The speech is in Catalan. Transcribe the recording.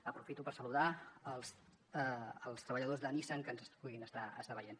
aprofito per saludar els treballadors de nissan que ens puguin estar veient